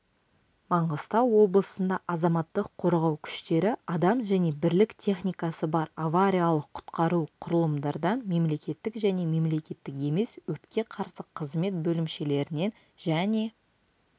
маңғыстау облысында азаматтық қорғау күштері адам және бірлік техникасы бар авариялық-құтқару құралымдардан мемлекеттік және мемлекеттік емес өртке қарсы қызмет бөлімшелерінен және